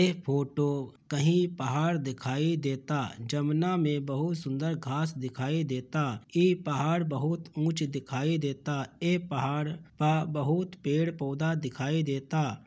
ये फोटो कहीं पहाड़ दिखाई देता जमुना मे बहत सुंदर घास दिखाई देता ये पहाड़ बहत उंच दिखाई देता ये पहाड़ पा बहुत पेड़ पोधा दिखाई देता |